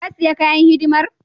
Ka sayi kayan hidimar?